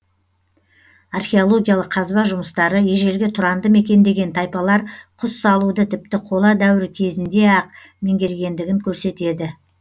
археологиялық қазба жұмыстары ежелгі тұранды мекендеген тайпалар құс салуды тіпті қола дәуірі кезінде ақ меңгергендігін көрсетеді